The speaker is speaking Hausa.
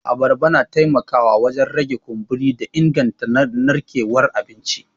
Abarba na taimakawa wajen rage kumburi da inganta narkewar abinci.